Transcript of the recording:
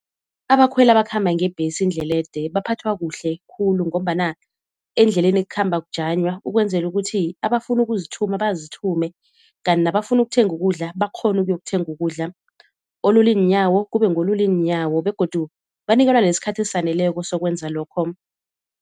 Abakhweli abakhamba ngebhesi indlela ede baphathwa kuhle khulu ngombana endleleni kukhamba kujanywa ukwenzela ukuthi abafuna ukuzithuma bazithume, kanti nabafuna ukuthenga ukudla bakghone ukuyokuthenga ukudla, olula iinyawo kube ngolula iinyawo begodu banikelwa nesikhathi esaneleko sokwenza lokho.